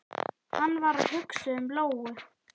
Hann var að hugsa um Lóu.